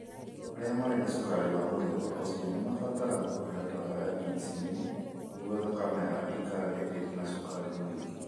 Arĩa marĩ na cukari wa mũthemba ũcio nĩ mabataraga kũheo ndawa ya insulin nĩguo thakame yao ĩikarage ĩrĩ na cukari mũingĩ.